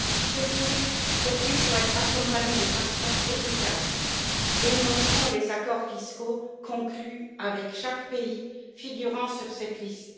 Surtout, cette liste doit être accompagnée de sanctions efficaces dénonçant les accords fiscaux conclus avec chaque pays figurant sur cette liste.